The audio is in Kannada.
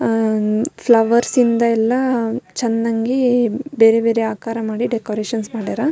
ಆಹ್ಹ್ ಫ್ಲವರ್ಸ್ ಇಂದ ಎಲ್ಲ ಚೆನ್ನಾಗಿ ಬೇರೆ ಬೇರೆ ಆಕಾರ ಮಾಡಿ ಡೆಕೋರೇಷನ್ ಮಾಡ್ಯಾರ-